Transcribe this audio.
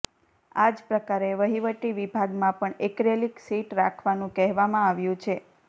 આ જ પ્રકારે વહીવટી વિભાગમાં પણ એક્રેલીક સીટ રાખવાનું કહેવામાં આવ્યું છે